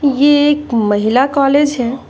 ये एक महिला कॉलेज है।